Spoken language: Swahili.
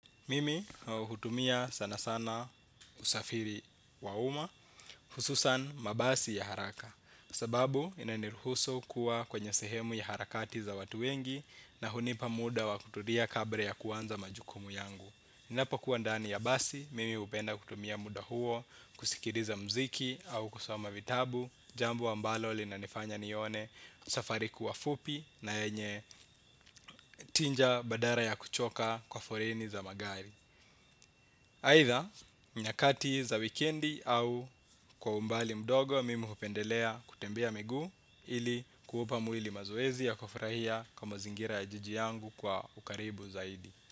Mimi hutumia sana sana usafiri wa uma, hususan mabasi ya haraka. Sababu inaniruhusu kuwa kwenye sehemu ya harakati za watu wengi na hunipa muda wa kutulia kabla ya kuanza majukumu yangu. Inapo kuwa ndani ya basi, mimi upenda kutumia muda huo, kusikiliza mziki au kusoma vitabu, jambo ambalo lina nifanya nione safari kuwa fupi na yenye tinja badala ya kuchoka kwa foleni za magari. Haitha nyakati za weekendi au kwa umbali mdogo mimi hupendelea kutembea miguu ili kuupa mwili mazoezi ya kufurahia kwa mazingira ya jiji yangu kwa ukaribu zaidi.